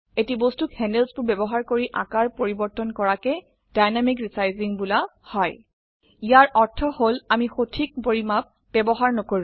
এটি বস্তুক handlesবোৰ ব্যবহাৰ কৰি আকাৰ পৰিবৰ্তন কৰাকে ডাইনেমিক ৰেচাইজিং বোলা হয় ইয়াৰ অৰ্থ হল আমি সঠিক পৰিমাপ ব্যবহাৰ নকৰো